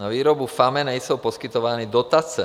Na výrobu FAME nejsou poskytovány dotace.